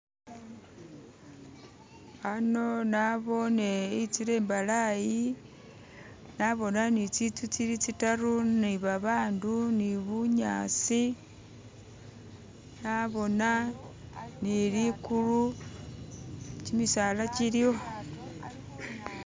Ano naboone itsila imbalayi naboona nii tsitsu tsili tsitaru nebabandu, ni bu'nyasi naboona ni ligulu, kimisala kiliwo